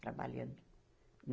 Trabalhando.